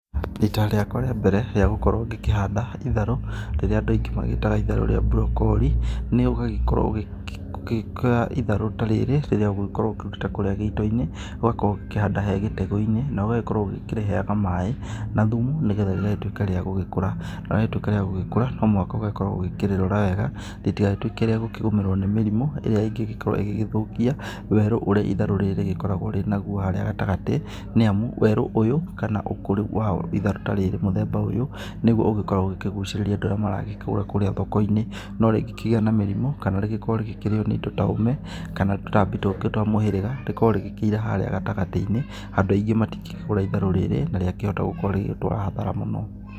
Rita rĩakwa rĩa mbere rĩa gũkorwo ngĩkĩhanda itharũ rĩrĩa andũ aingĩ magĩtaga itharũ rĩa burokori, nĩ ũgagĩkorwo ũgĩitaa itharũ ta rĩrĩ rĩrĩa ũgĩkoragwo ũkĩrutĩte kuurĩa gĩito-inĩ, ũgagĩkorwo ũkĩhanda gĩtegũ-inĩ, na ũgagĩkorwo ũkĩrĩheaga maaĩ, na thumu, nĩgetha rĩgagĩtuĩka rĩa gũgĩkũra. Na rĩatuĩka rĩa gũgĩkũra, no mũhaka ũgagĩkorwo ũgĩkĩrĩrora wega, rĩtigagĩtuĩke rĩa gũkĩgũmĩrwo nĩ mĩrimũ ĩrĩa ĩngĩ gĩkorwo ĩgĩgĩthũkia werũ ũrĩa itharũ rĩrĩ rĩgĩkoragwo rĩnaguo haarĩa gatagatĩ. Nĩ amu, werũ ũyũ, kana ũkũri wa itharũ ta rĩrĩ mũthemba ũyũ, nĩguo ũgĩkoragwo ukĩgucĩrĩria andũ arĩa maragĩkĩgũra kuurĩa thoko-inĩ. No rĩngĩ kĩgĩa na mĩrimũ, kana rĩgĩkorwo rĩkĩrĩo nĩ indo ta ũme, kana tũtambi tũngĩ twa mũhĩrĩga, rĩkorwo rĩgĩkĩira harĩa gatagatĩ-inĩ andũ aingĩ matingĩkĩgũra itharũ rĩrĩ, na rĩakĩhota gũkorwo rĩgĩgũtwara hathara mũno.